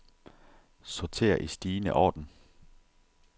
Sorter i stigende orden.